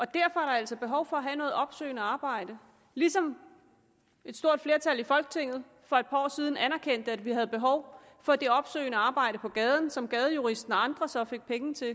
der altså behov for at have noget opsøgende arbejde ligesom et stort flertal i folketinget får et par år siden anerkendte at vi havde behov for det opsøgende arbejde på gaden som gadejuristen og andre så fik penge til